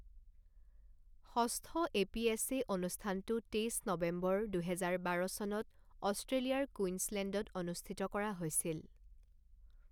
ষষ্ঠ এপিএছএ অনুষ্ঠানটো তেইছ নৱেম্বৰ, দুহেজাৰ বাৰ চনত অষ্ট্ৰেলিয়াৰ কুইনছলেণ্ডত অনুষ্ঠিত কৰা হৈছিল।